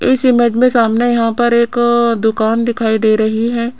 इस इमेज में सामने यहां पर एक दुकान दिखाई दे रही है।